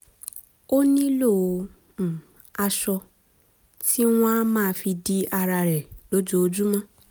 o nilo aṣọ um ti wọn a máa fi di ara rẹ lójoojúmọ́